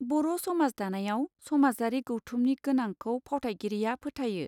बर समाज दानायाव समाजारि गौथुमनि गोनांखौ फावथायगिरिया फोथायो.